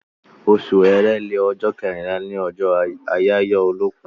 Osù èrèlé, ọjọ́ kẹrínlá ni ọjọ́ àyáyọ́ olókùn